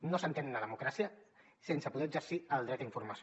no s’entén una democràcia sense poder exercir el dret a informació